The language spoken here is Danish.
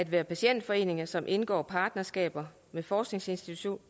af patientforeninger som indgår partnerskaber med forskningsinstitutter